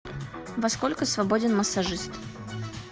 во сколько свободен массажист